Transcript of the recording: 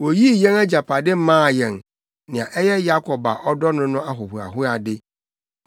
Oyii yɛn agyapade maa yɛn, nea ɛyɛ Yakob a ɔdɔ no no ahohoahoade.